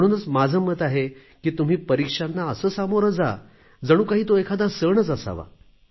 म्हणूनच माझे मत आहे की तुम्ही परीक्षांना असे सामोरे जा जणू काही तो एखादा सणच असावा